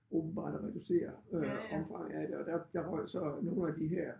Åbenbart reducere øh omfanget af det og der der røg så nogle af de her